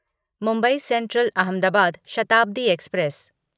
Mumbai central Ahmedabad Shatabdi express